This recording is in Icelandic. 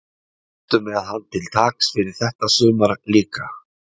Ertu með hann til taks fyrir þetta sumar líka?